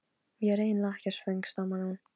Ég er eiginlega ekkert svöng stamaði hún.